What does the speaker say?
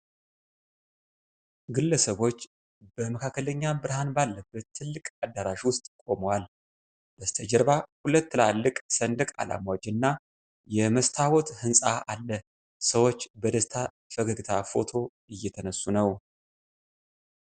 ግለሰቦች በመካከለኛ ብርሃን ባለበት ትልቅ አዳራሽ ውስጥ ቆመዋል። በስተጀርባ ሁለት ትላልቅ ሰንደቅ ዓላማዎች እና የመስታወት ሕንፃ አለ። ሰዎች በደስታ ፈገግታ ፎቶ እየተነሱ ነው።